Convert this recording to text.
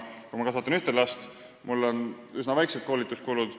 Kui ma kasvatan ühte last, on mul üsna väiksed koolituskulud.